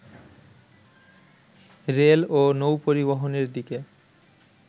rail ও নৌ-পরিবহনের দিকে